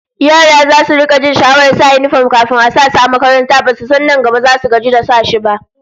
Yara zasu rika jin sha'awar sa yinifom kafin a sa su a makaranta, basu san nan gaba zasu zo su gaji da shi ba!